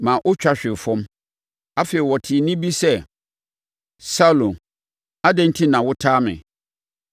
maa ɔtwa hwee fam. Afei, ɔtee nne bi sɛ, “Saulo! Adɛn enti na wotaa me?”